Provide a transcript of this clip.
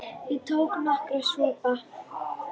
Ég tók nokkra sopa.